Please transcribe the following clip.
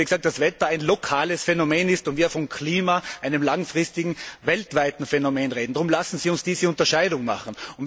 Weil das Wetter ein lokales Phänomen ist und wir vom Klima, einem langfristigen weltweiten Phänomen, reden. Darum lassen Sie uns diese Unterscheidung machen.